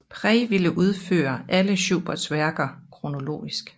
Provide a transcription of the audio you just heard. Prey ville udføre alle Schuberts værker kronologisk